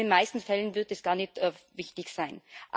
In den meisten Fällen wird es gar nicht wichtig sein.